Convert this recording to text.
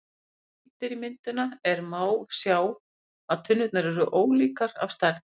Ef rýnt er í myndina er má sjá að tunnurnar eru ólíkar að stærð.